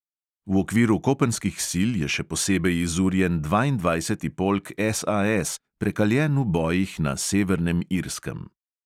V okviru kopenskih sil je še posebej izurjen dvaindvajseti polk SAS, prekaljen v bojih na severnem irskem.